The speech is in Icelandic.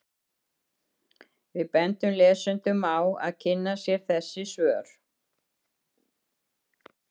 Við bendum lesendum á að kynna sér þessi svör.